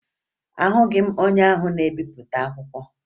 Ahụghị m onye ahụ na-ebipụta akwụkwọ